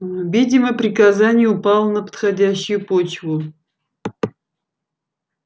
видимо приказание упало на подходящую почву